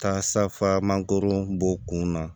Taa safa mangoro bɔ kun na